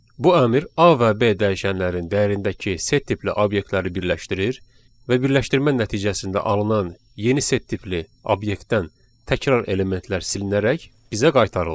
Bu əmr A və B dəyişənlərin dəyərindəki set tipli obyektləri birləşdirir və birləşdirmə nəticəsində alınan yeni set tipli obyektdən təkrar elementlər silinərək bizə qaytarılır.